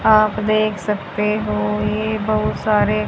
आप देख सकते हो ये बहुत सारे--